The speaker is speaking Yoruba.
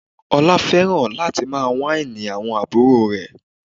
Ọlá fẹ́ràn láti máa wáìnì àwọn àbúrò rẹ̀